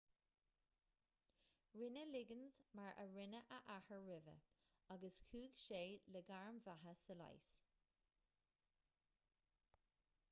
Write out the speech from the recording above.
rinne liggins mar a rinne a athair roimhe agus chuaigh sé le gairm bheatha sa leigheas